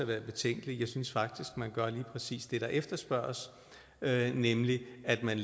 været betænkelige jeg synes faktisk man gør lige præcis det der efterspørges nemlig at man